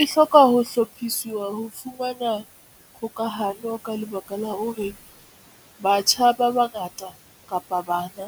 E hloka ho hlophisiwa ho fumana kgokahano ka lebaka la hore batjha ba bangata kapa bana